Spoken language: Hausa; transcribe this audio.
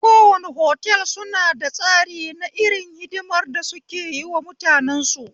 Kowane otal suna da tsari na irin hidimar da suke yiwa mutanensu